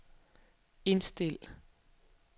indstil